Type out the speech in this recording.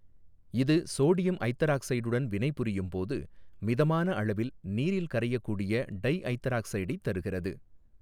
இது சோடியம் ஐதராக்சைடுடன் வினைபுரியும் போது மிதமான அளவில் நீரில் கரையக்கூடிய டைஐதராக்சைடைத் தருகிறது.